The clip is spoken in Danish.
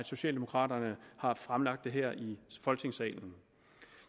socialdemokraterne har fremsat det her i folketingssalen